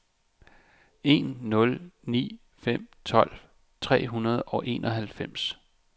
en nul ni fem tolv tre hundrede og enoghalvfems